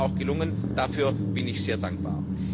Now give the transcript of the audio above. Das ist uns auch gelungen, dafür bin ich sehr dankbar.